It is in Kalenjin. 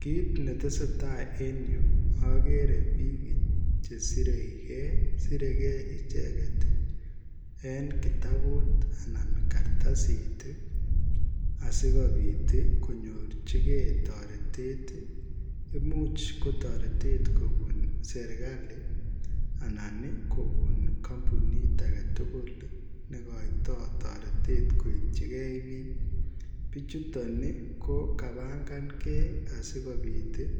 Kit ne tesetai en Yuu agere biik chesirei gei siregei ichegeet en kitabuut anan kartasiit ii asikobiit ii koinyorjigei taretet imuuch ko taretet kobuun serikalii anan ii kopuun kampunit age tugul ii negaitoi taretet kityoi gei biik bichutoo ii ko kampangangei asikobiit ii